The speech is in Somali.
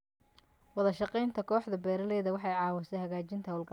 Wadashaqeynta kooxda beeralayda waxay caawisaa hagaajinta hawlgallada.